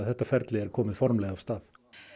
þetta ferli er komið formlega af stað